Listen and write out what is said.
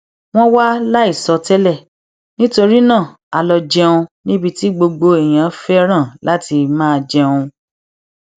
wón wá láìsọ tẹlẹ nítorí náà a lọ jẹun níbi tí gbogbo èèyàn féràn láti máa jẹun